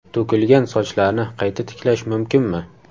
To‘kilgan sochlarni qayta tiklash mumkinmi?.